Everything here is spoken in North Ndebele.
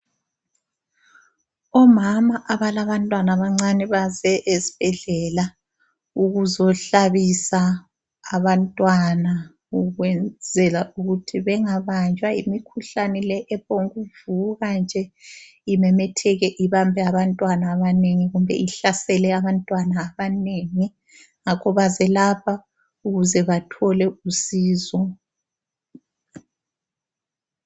Omama abalabantwana abancane baze esibhedlela ukuzohlabisa abantwana ukwenzela ukuthi bengabanjwa yimikhuhlane le ephongukuvuka nje imemetheke ibambe abantwana abanengi kumbe ihlasele abantwana abanengi ngakho baze lapha ukuze bathole usizo.